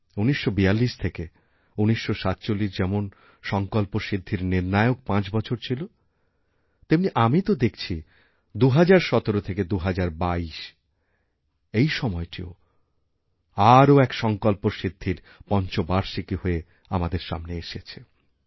১৯৪২ থেকে ১৯৪৭ যেমন সঙ্কল্পসিদ্ধির নির্ণায়কপাঁচ বছর ছিল তেমনি আমি তো দেখছি ২০১৭ থেকে ২০২২ এই সময়টিও আরও এক সঙ্কল্পসিদ্ধির পঞ্চবার্ষিকী হয়ে আমাদের সামনে এসেছে